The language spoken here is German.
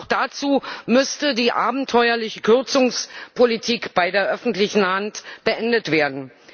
Doch dazu müsste die abenteuerliche Kürzungspolitik bei der öffentlichen Hand beendet werden.